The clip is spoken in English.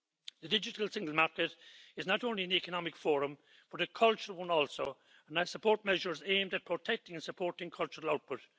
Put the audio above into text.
The digital single market is not only an economic forum but a cultural one also, and I support measures aimed at protecting and supporting cultural output.